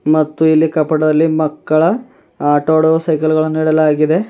ಮತ್ತು ಇಲ್ಲಿ ಕಪಟದಲ್ಲಿ ಮಕ್ಕಳ ಆಟಾಡುವ ಸಜಗಳನ್ನು ಇಡಲಾಗಿದೆ.